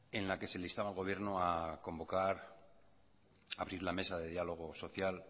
en la que se le instaba al gobierno a convocar a abrir la mesa de diálogo social